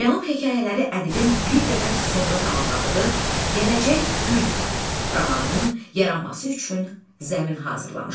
Cənub hekayələri ədibin bir qədər sonra tamamladığı Gələcək gün romanının yaranması üçün zəmin hazırlamışdı.